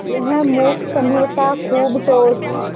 यह मूक स्नेह था खूब ठोस